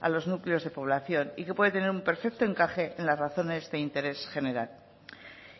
a los núcleos de población y que puede tener un perfecto encaje en la razones de interés general